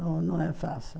Não não é fácil.